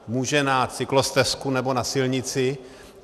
Může na cyklostezku nebo na silnici.